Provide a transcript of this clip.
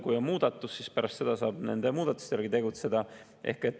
Kui on muudatus, siis pärast seda saab nende muudatuste järgi tegutseda.